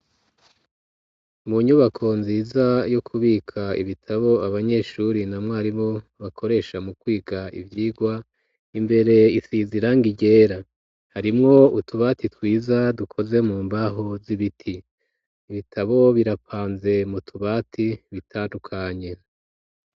Mu nyubako, nziza, yo kubika ibitabo, abanyeshuri, na mwarimu, bakoresha, mu kwiga, ivyigwa; imbere isize irangi ryera; harimwo utubati, twiza, dukoze mu mbaho, z'ibiti; ibitabo birapanze, mu tubati, bitandukanye.